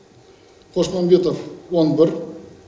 қосмамбетов он бір